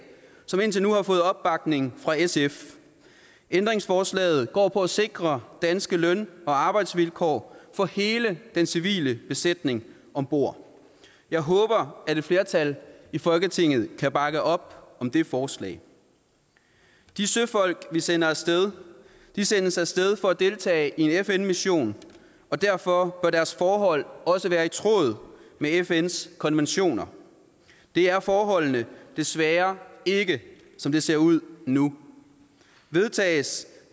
som indtil nu har fået opbakning fra sf ændringsforslaget går på at sikre danske løn og arbejdsvilkår for hele den civile besætning om bord jeg håber at et flertal i folketinget kan bakke op om det forslag de søfolk vi sender af sted sendes af sted for at deltage i en fn mission og derfor bør deres forhold også være i tråd med fns konventioner det er forholdene desværre ikke som det ser ud nu vedtages